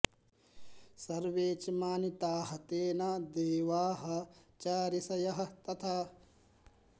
सर्वे च मानिताः तेन देवाः च ऋषयः तथा